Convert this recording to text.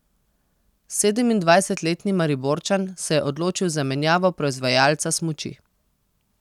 Sedemindvajsetletni Mariborčan se je odločil za menjavo proizvajalca smuči.